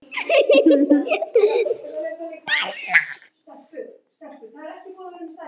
Hvað er að ykkur?